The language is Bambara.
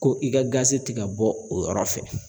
Ko i ka gazi ti ka bɔ o yɔrɔ fɛ.